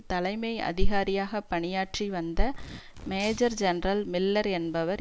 தலைமை அதிகாரியாக பணியாற்றி வந்த மேஜர் ஜெனரல் மில்லர் என்பவர்